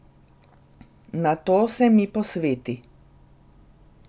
Nato se mi posveti.